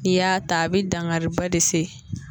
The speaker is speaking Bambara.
N'i y'a ta a bɛ dankariba de se